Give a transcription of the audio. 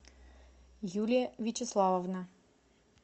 юлия вячеславовна